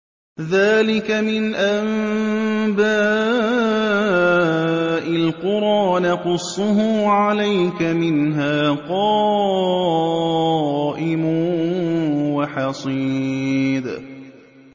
ذَٰلِكَ مِنْ أَنبَاءِ الْقُرَىٰ نَقُصُّهُ عَلَيْكَ ۖ مِنْهَا قَائِمٌ وَحَصِيدٌ